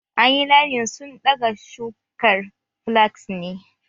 An yi linen sun daga shukar flax neh